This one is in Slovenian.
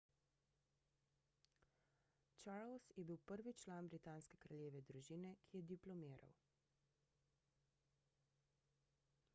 charles je bil prvi član britanske kraljeve družine ki je diplomiral